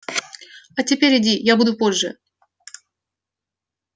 а теперь иди я буду позже